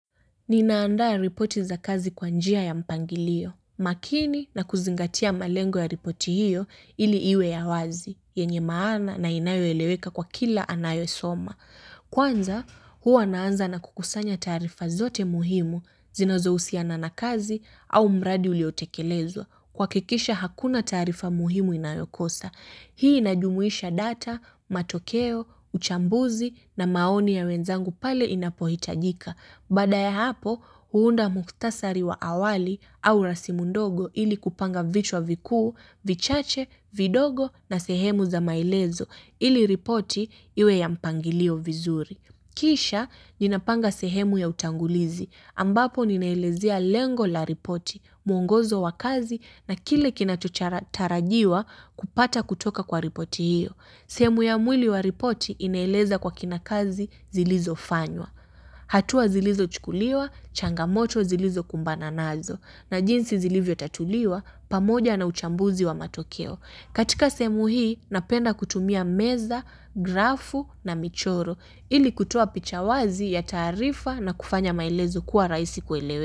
Ninaandaa ya ripoti za kazi kwanjia ya mpangilio. Makini na kuzingatia malengo ya ripoti hiyo ili iwe ya wazi, yenye maana na inayo eleweka kwa kila anayo soma. Kwanza, huwa naanza na kukusanya taarifa zote muhimu zinazo usiana na kazi au mradi uliotekelezwa. Kuha kikisha hakuna taarifa muhimu inayokosa. Hii inajumuisha data, matokeo, uchambuzi na maoni ya wenzangu pale inapohitajika. Baadaya hapo huunda muktasari wa awali au rasimundogo ili kupanga vichwa vikuu, vichache, vidogo na sehemu za maelezo ili ripoti iwe ya mpangilio vizuri. Kisha nina panga sehemu ya utangulizi ambapo ninaelezea lengo la ripoti, mwongozo wa kazi na kile kina tarajiwa kupata kutoka kwa ripoti hiyo. Sehemu ya mwili wa ripoti inaeleza kwa kina kazi zilizo fanywa. Hatua zilizo chukuliwa, changamoto zilizo kumbana nazo na jinsi zilivyo tatuliwa pamoja na uchambuzi wa matokeo. Katika sehemu hii napenda kutumia meza, grafu na michoro ili kutoa pichawazi ya taarifa na kufanya maelezo kuwa raisi kuelewe.